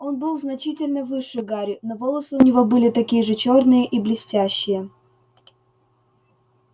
он был значительно выше гарри но волосы у него были такие же чёрные и блестящие